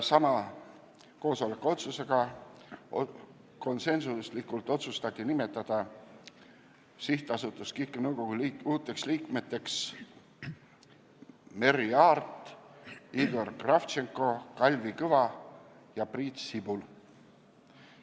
Samal koosolekul otsustati konsensuslikult, et SA KIK nõukogu uuteks liikmeteks nimetatakse Merry Aart, Igor Kravtšenko, Kalvi Kõva ja Priit Sibul.